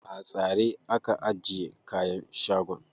A tsare aka ajiye kayan shagon.